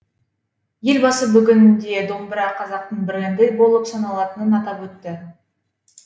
елбасы бүгінде домбыра қазақтың бренді болып саналатынын атап өтті